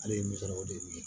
Ale ye misaliyaw de ye